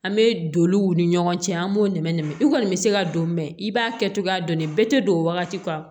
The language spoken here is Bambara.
An bɛ doniw ni ɲɔgɔn cɛ an b'o nɛmɛ nɛmɛ i kɔni bɛ se ka don mɛn i b'a kɛ cogoya dɔn dɛ bɛɛ tɛ don wagati kan